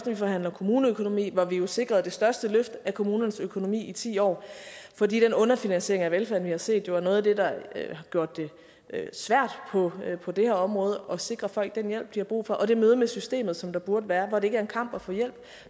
vi forhandle kommuneøkonomi hvor vi jo sikrede det største løft af kommunernes økonomi i ti år for den underfinansiering af velfærden vi har set er jo noget af det der har gjort det svært på på det her område at sikre folk den hjælp de har brug for og det møde med systemet som der burde være hvor det ikke er en kamp at få hjælp